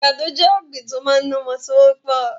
Àgbàdo jẹ́ ọ̀gbín tí ó máa ń ní ọmọ tí ó pọ̀